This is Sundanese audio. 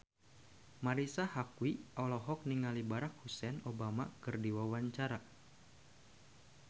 Marisa Haque olohok ningali Barack Hussein Obama keur diwawancara